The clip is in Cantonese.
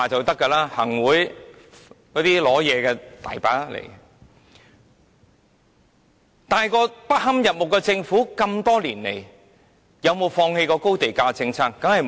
多年來，這個不堪入目的政府有沒有放棄過高地價政策？